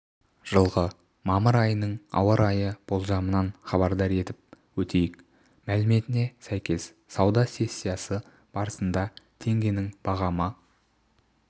жылғы мамыр айының ауа райы болжамынан хабардар етіп өтейік мәліметіне сәйкес сауда сессиясы барысында теңгенің бағамы